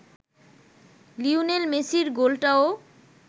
Lionel মেসির গোলটাও